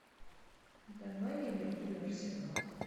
давай ливерпуль арсенал